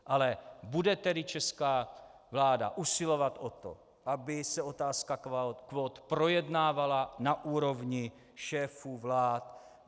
Ale bude tedy česká vláda usilovat o to, aby se otázka kvót projednávala na úrovni šéfů vlád?